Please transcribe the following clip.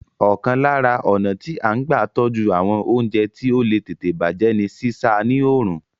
Ọ̀kan lára ọnà tí a n gba tọ́jú àwọn oúnjẹ tí ó le tètè bàjé ní sísá a ní òrùn